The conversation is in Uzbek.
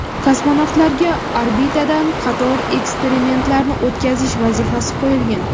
Kosmonavtlarga orbitada qator eksperimentlarni o‘tkazish vazifasi qo‘yilgan .